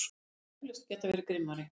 Hefði eflaust getað verið grimmari.